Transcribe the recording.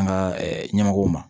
An ka ɲɛmɔgɔw ma